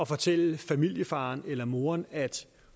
fortælle familiefaren eller moren at de